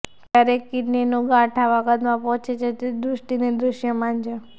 ક્યારેક કિડનીનું ગાંઠ આવા કદમાં પહોંચે છે જે દૃષ્ટિની દૃશ્યમાન છે